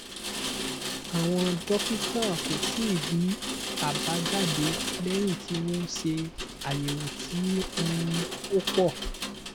àwọn dókítà kò tíì rí àbájáde léyìn tí wọ́n ṣe ayewo tí um ó pọ̀